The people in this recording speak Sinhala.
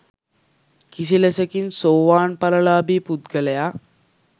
කිසිලෙසකින් සෝවාන් ඵල ලාභී පුද්ගලයා